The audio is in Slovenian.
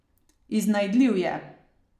Iznajdljiv je.